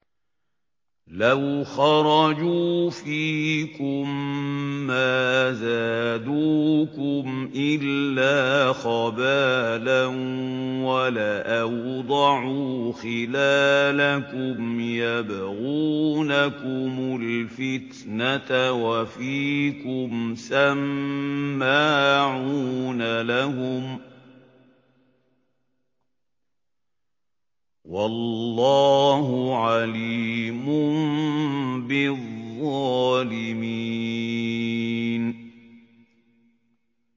لَوْ خَرَجُوا فِيكُم مَّا زَادُوكُمْ إِلَّا خَبَالًا وَلَأَوْضَعُوا خِلَالَكُمْ يَبْغُونَكُمُ الْفِتْنَةَ وَفِيكُمْ سَمَّاعُونَ لَهُمْ ۗ وَاللَّهُ عَلِيمٌ بِالظَّالِمِينَ